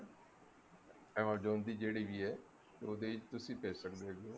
amazon ਦੀ ਜਿਹੜੀ ਵੀ ਹੈ ਉਹਦੇ ਚ ਤੁਸੀਂ ਭੇਜ ਸਕਦੇ ਹੈਗੇ ਓ